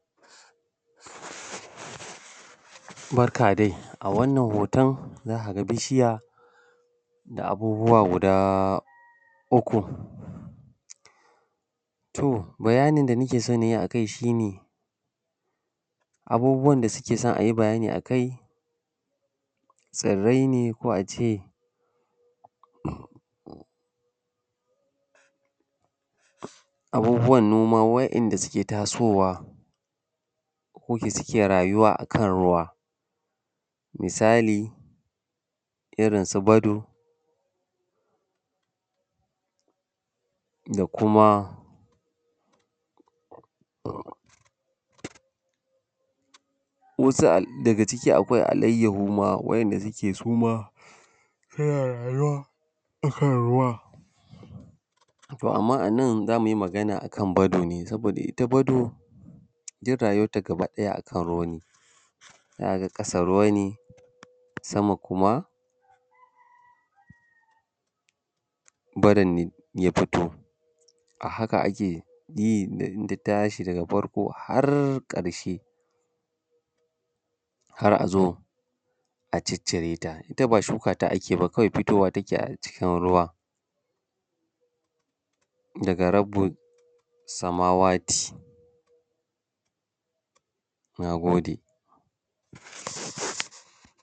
Barka dai a wannan hoton za ka ga bishiya da abubuwa guda uku. To bayani da nake so na yi a kai shi ne abubuwan da suke so ayi bayani a kai tsirrai ne ko ace abubuwan noma wa'inda suke tasowa, ko ke suke rayuwa a kan ruwa misali irinsu bado da kuma wasu daga ciki akwai alaiyahu ma wa'inda suke suma suna rayuwa akan ruwa. To amma a nan za mu yi magana akan bado ne, saboda ita bado duk rayuwanta gaba ɗaya a kan ruwa ne, za ka ga kasa ruwa ne sama kuma bado ne ya fito, a haka ake yi in ta tashi daga farko har ƙarshe, har az o a ciccire ta. Ita ba shuka ta ake yi ba kwai fitowa take a cikin ruwa daga rabbis samawati. Na gode.